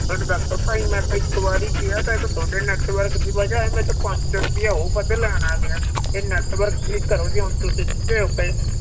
ਹੁਣ ਦੱਸੋ ਭਾਈ ਮੈਂ ਤਾਂ ਇੱਕ ਵਾਰੀ ਕਿਹਾ ਸੀ ਇਹ ਤਾਂ ਤੁਹਾਡੇ network ਦੀ ਵਜ੍ਹਾ ਨਾਲ ਮੈਥੋਂ ਪੰਜ ਸੌ ਰੁਪਇਆ ਉਹ ਵੱਧ ਲੈਣ ਆ ਗਿਆ, ਇਹ network ਠੀਕ ਕਰੋ ਜੀ ਹੁਣ ਤੁਸੀਂ ਸਿੱਧੇ ਹੋ ਕੇ